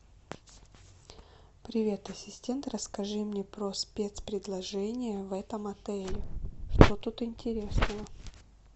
привет ассистент расскажи мне про спецпредложения в этом отеле что тут интересного